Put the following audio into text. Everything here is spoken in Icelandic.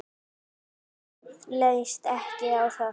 Honum leist ekki á það.